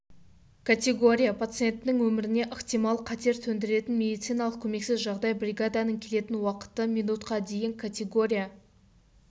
категория пациенттің өміріне ықтимал қатер төндіретін медициналық көмексіз жағдай бригаданың келетін уақыты минутқа дейін категория